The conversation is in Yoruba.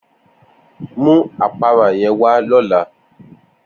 Mu apara yen wa lola!